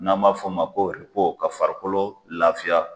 N'a m'a fɔ ma ko ka farikolo lafiya.